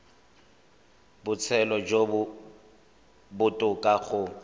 botshelo jo bo botoka go